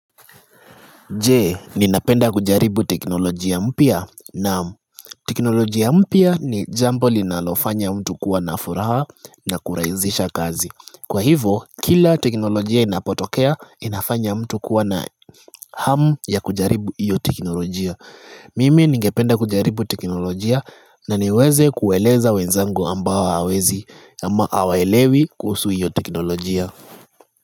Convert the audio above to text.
Je, ninapenda kujaribu teknolojia mpya? Naam. Teknolojia mpya ni jambo linalofanya mtu kuwa na furaha na kurahisisha kazi. Kwa hivo, kila teknolojia inapotokea, inafanya mtu kuwa na hamu ya kujaribu hiyo teknolojia. Mimi ningependa kujaribu teknolojia na niweze kueleza wenzangu ambao hawawezi ama hawaelewi kuhusu hiyo teknolojia.